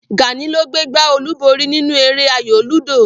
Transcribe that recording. Gàní ló gbé gbá olúborí nínú eré ayò lúdò